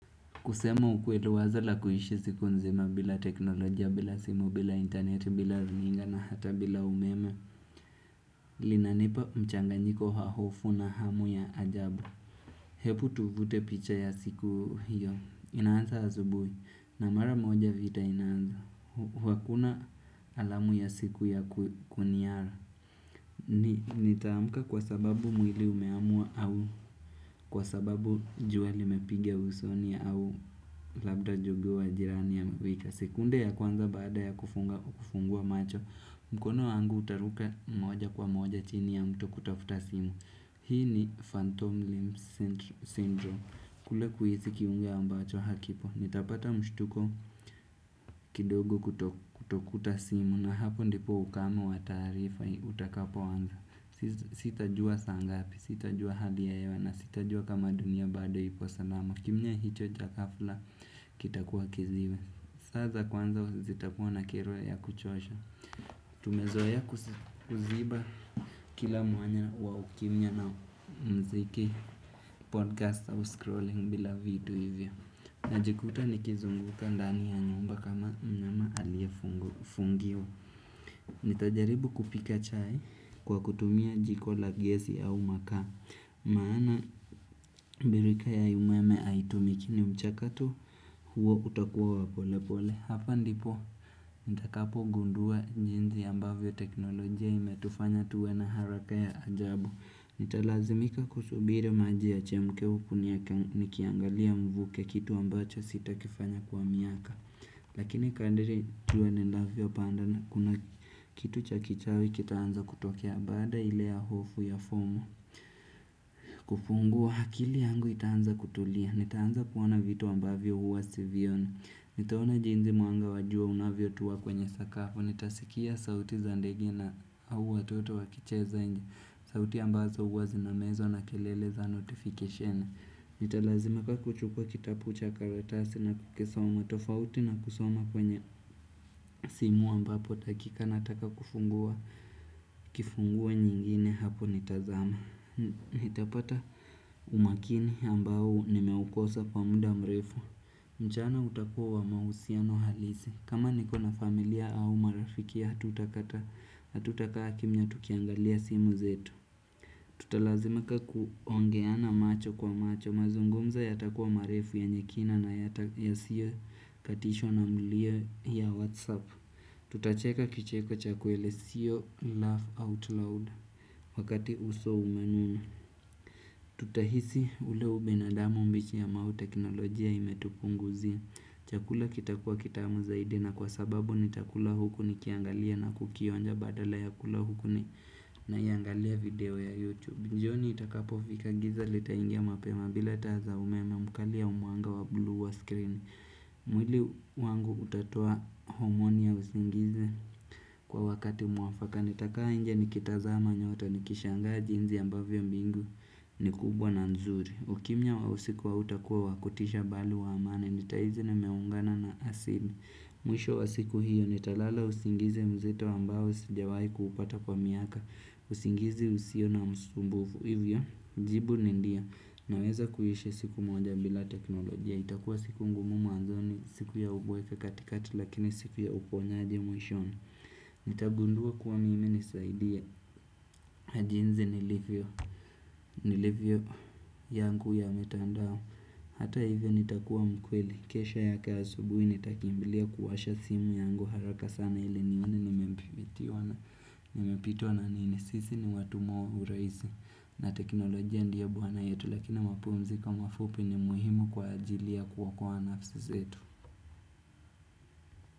Kusema ukweli wazo la kuishi siku nzima bila teknolojia, bila simu, bila internet, bila runinga na hata bila umeme. Linanipa mchanganyiko wa hofu na hamu ya ajabu. Hebu tuvute picha ya siku hiyo. Inaanza asubui. Na mara moja vita inaanza. Huku hakuna alamu ya siku ya kuniara. Nitaamka kwa sababu mwili umeamua au kwa sababu jua limepiga usoni au labda jogoo wa jirani amewika sekunde ya kwanza baada ya kufungua macho mkono wangu utaruka moja kwa moja chini ya mto kutafuta simu Hii ni phantom limb syndrome kule kuhisi kiungo ambacho hakipo Nitapata mshtuko kidogo kutokuta simu na hapo ndipo ukame wa taarifa utakapoanza Sitajua saa ngapi, sitajua hali ya hewa na sitajua kama dunia bado ipo salama kimya hicho cha ghafla kitakuwa kiziwi Saza kwanza zitakuwa na kero ya kuchosha Tumezoea kuziba kila mwanya wa ukimya na mziki podcast au scrolling bila vitu hivyo najikuta nikizunguka ndani ya nyumba kama mnyama aliyefungiwa Nitajaribu kupika chai kwa kutumia jiko la gesi au makaa maana birika ya umeme aitumiki ni mchakato huo utakuwa wa polepole Hapa ndipo nitakapogundua jinzi ambavyo teknolojia imetufanya tuwe na haraka ya ajabu Nitalazimika kusubiri maji yachemke huku nia nikiangalia mvuke kitu ambacho sitakifanya kwa miaka Lakini kandiri jua linavyopanda pandana kuna kitu cha kichawi kitaanza kutokea baada ile ya hofu ya fumo kufungua akili yangu itaanza kutulia Nitaanza kuona vitu ambavyo huwa sivioni nitaona jinzi mwanga wa jua unavyotua kwenye sakafu Nitasikia sauti za ndege na au watoto wakicheza nje sauti ambazo huwa zinamezwa na kelele za notification Nitalazimika kuchukua kitapu cha karatasi na kukisoma tofauti na kusoma kwenye simu ambapo dakika nataka kufungua kifungua nyingine hapo nitazama Nitalazimaka kuchukua kitabu cha karatasi na kukisoma tofauti na kusoma kwenye simu ambapo dakika na daka kufungua nyingine hapo nitazama Nitalazimika kuchukua kitapu cha karatasi na kukisoma tofauti na kusoma kwenye simu ambapo takika na taka kufungua nyingine hapo nitazama Nitapata umakini ambao nimeukosa kwa muda mrefu mchana utakua wa mausiano halisi kama nikona familia au marafiki hatutakaa hatutakaa kimya tukiangalia simu zetu Tutalazimika kuongeana macho kwa macho Mazungumza yatakuwa marefu yenye kina na yatakia yasiyo katishwa na mlio ya whatsapp Tutacheka kicheko cha kweli siyo laugh out loud wakati uso umenunaa Tutahisi ule ubinadamu mbichi ambao teknolojia imetupunguzia Chakula kitakua kitamu zaidi na kwa sababu nitakula huku nikiangalia na kukionja badala ya kula huku naiangalia video ya Youtube jioni itakapofika giza litaingia mapema bila taa za umeme mkali au mwanga wa blue wa screen mwili wangu hutatua homoni ya usingizi kwa wakati mwafaka nitakaa inje nikitazama nyota nikishangaa jinzi ambavyo mbingu ni kubwa na nzuri ukimya wa usiku hautakuwa wa kutisha bali wa amani Nitaizi nimeungana na asili Mwisho wa siku hiyo nitalala usingizi mzito ambao Sijawai kupata kwa miaka usingizi usio na msumbufu Hivyo, jibu ni ndio Naweza kuishi siku moja bila teknolojia itakuwa siku ngumu mwanzoni siku ya ubweke katikati Lakini siku ya uponyaji mwisho Nitagundua kuwa mimi nisaidia na jinzi nilivyo Niilivyo yangu ya mitandao Hata hivyo nitakuwa mkweli kesho yake asubuhi nitakimbilia kuwasha simu yangu haraka sana ili nione nimepitwa na nini Sisi ni watumwa uraizi na teknolojia ndie bwana yetu Lakini mapumziko mafupi ni muhimu kwa ajili ya kuokoa nafsi zetu.